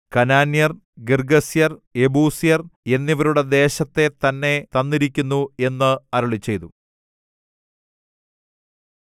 കനാന്യർ ഗിർഗ്ഗസ്യർ യെബൂസ്യർ എന്നിവരുടെ ദേശത്തെ തന്നെ തന്നിരിക്കുന്നു എന്ന് അരുളിച്ചെയ്തു